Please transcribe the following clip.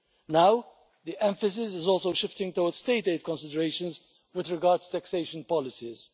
Now, the emphasis is also shifting towards state aid considerations with regard to taxation policies.